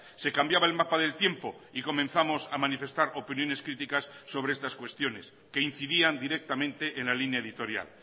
se cambiaba el mapa del tiempo y comenzamos a manifestar opiniones críticas sobre estas cuestiones que incidían directamente en la línea editorial